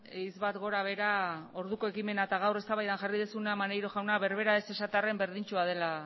hitz bat gora behera orduko ekimena eta gaur eztabaidan jarri duzuna maneiro jauna berbera ez esatearren berdintsua dela